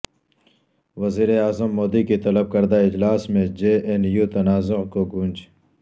وزیر اعظم مودی کے طلب کردہ اجلاس میں جے این یو تنازعہ کی گونج